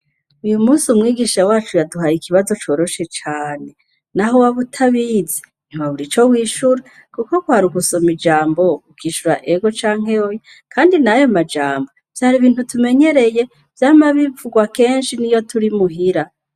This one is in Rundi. Uyu musi umwigisha wacu yaduhaye ikibazo coroshe cane na ho wa butabize ntuba bura ico wishure, kuko kwari ugusoma ijambo ukishura ego canke oya, kandi nayo majambo vyara ibintu tumenyereye vyama bivurwa kenshi ni yo turi muhira.